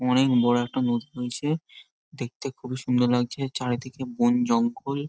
অনেক বড়ো একটা বোট রয়েছে দেখতে খুবই সুন্দর লাগছে চারিদিকে বনজঙ্গল।